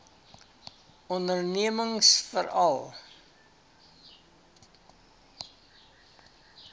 ondernemingsveral